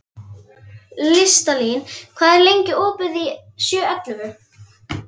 Listalín, hvað er lengi opið í Tíu ellefu?